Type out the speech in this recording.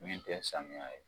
Min tɛ sanmiya ye.